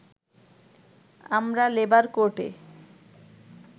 আমরা লেবার কোর্টে